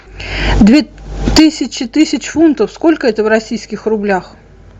две тысячи тысяч фунтов сколько это в российских рублях